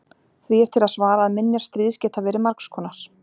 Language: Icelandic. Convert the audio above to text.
því er til að svara að minjar stríðs geta verið margs konar